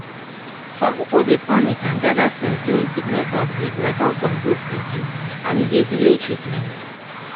some people dey panic and gather things during sickness outbreak like how some groups dey do and e dey delay treatment.